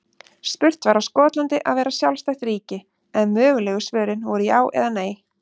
Spurt var á Skotland að vera sjálfstætt ríki? en mögulegu svörin voru já eða nei.